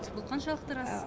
бұл қаншалықты рас